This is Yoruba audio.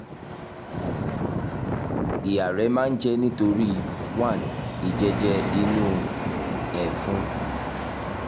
máa ń jẹ́ nítorí one ìjẹ́jẹ́ inú ẹ̀fun